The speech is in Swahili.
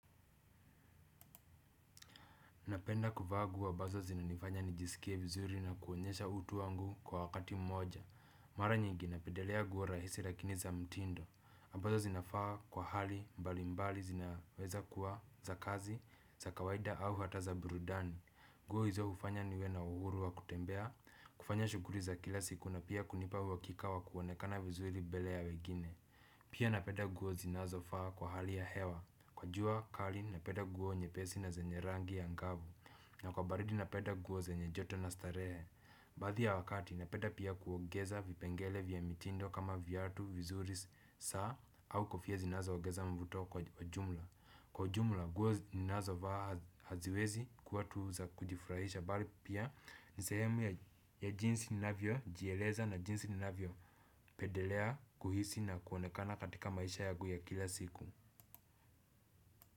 Napenda kuvaa guo ambazo zinanifanya nijisikie vizuri na kuonyesha utu wangu kwa wakati mmoja. Mara nyingi napendelea nguo rahisi lakini za mtindo. Ambazo zinafaa kwa hali mbali mbali zinaweza kuwa za kazi za kawaida au hata za burudani. Nguo hizo hufanya niwe na uhuru wa kutembea. Kufanya shuguli za kila siku na pia kunipa uhakika wa kuonekana vizuri mbele ya wengine. Pia napenda nguo zinazofaa kwa hali ya hewa. Kwa jua kali napenda nguo nyepesi na zenye rangi ya ngavu. Na kwa baridi napenda nguo zenye joto na starehe. Baadhi ya wakati napenda pia kuongeza vipengele vya mitindo kama viatu, vizuri, saa au kofia zinazoongeza mvuto kwa jumla. Kwa ujumla nguo ninazovaa haziwezi kuwa tu za kujifurahisha bali pia ni sehemu ya jinsi ninavyojieleza na jinsi ninavyo pedelea kuhisi na kuonekana katika maisha yangu ya kila siku.